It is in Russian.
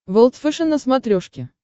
волд фэшен на смотрешке